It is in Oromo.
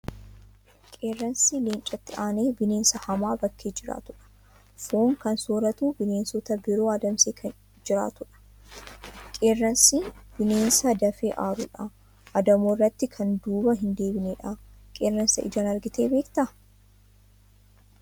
Qeerransi leencatti aanee bineensa hamaa bakkee jiraatudha. Foon kan sooratu bineensota biroo adamsee kan jiraatudha. Qeerransi bineensa dafee aaru dha. Adamoo irratti kan duuba hin deebine dha. Qeerransa ijaan argitee beektaa?